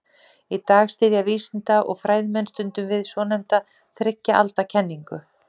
í dag styðjast vísinda og fræðimenn stundum við svonefnda þriggja alda kenningu